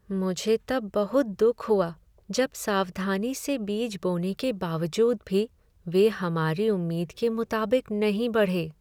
मुझे तब बहुत दुख हुआ जब सावधानी से बीज बोने के बावजूद भी वे हमारी उम्मीद के मुताबिक नहीं बढ़े।